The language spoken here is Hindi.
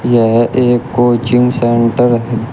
यह एक कोचिंग सेंटर --